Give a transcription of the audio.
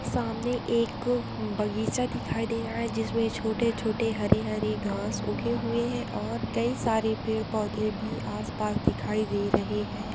सामने एक बगीचा दिखाई दे रहा है जिसमे छोटे-छोटे हरे-हरे घास उगे हुए है और कई सारे पेड़ - पौधे भी आस पास दिखाई दे रहे है।